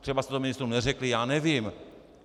Třeba jste to ministrům neřekli, já nevím.